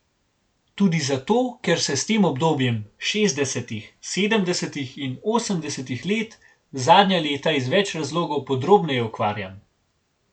Tudi zato, ker se s tem obdobjem, šestdesetih, sedemdesetih in osemdesetih let, zadnja leta iz več razlogov podrobneje ukvarjam.